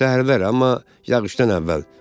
Səhərlər, amma yağışdan əvvəl.